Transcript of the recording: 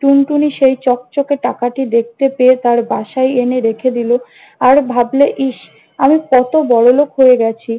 টুনটুনি সেই চকচকে টাকাটি দেখতে পেয়ে তার বাসায় এনে রেখে দিল। আর ভাবল, ইস আমি কত বড়লোক হয়ে গেছি!